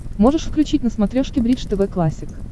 можешь включить на смотрешке бридж тв классик